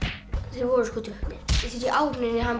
þeir voru sko drukknir þessi í áhöfninni rotaði hann